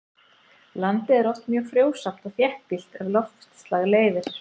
landið er oft mjög frjósamt og þéttbýlt ef loftslag leyfir